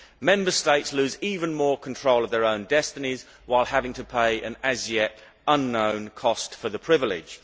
Member States lose even more control of their own destinies while having to pay the as yet unknown cost for the privilege.